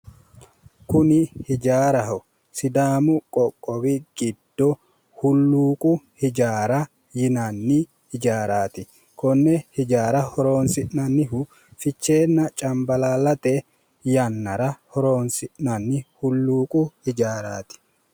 Kuni ijaaraho sidaamu qoqqowi giddo hulluuqu ijaara yinanni ijaaraati konne ijaara horoonsi'nannihu ficheenna cambalaallate yannara horoonsi'nanni hulluuqu ijaaraati